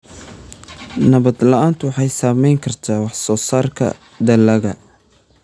Nabad la'aantu waxay saameyn kartaa wax soo saarka dalagga.